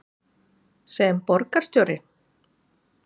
sem borgarstjóri?